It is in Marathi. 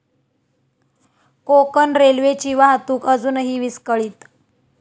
कोकण रेल्वेची वाहतूक अजूनही विस्कळीत